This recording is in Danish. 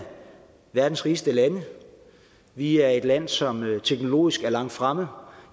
verdens rigeste lande og vi er et land som er teknologisk langt fremme